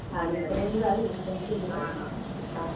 അതെ അതെ അതെ ആണോ ആ.